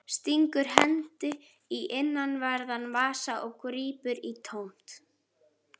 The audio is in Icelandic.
Stingur hendi í innanverðan vasa og grípur í tómt.